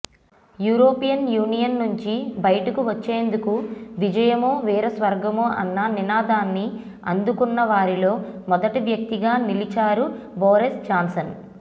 European union నుంచి బయటకు వచ్చేందుకు విజయమో వీరస్వర్గమో అన్న నినాదాన్ని అందుకున్నవారిలో మొదటి వ్యక్తిగా నిలిచారు బోరిస్ జాన్సన్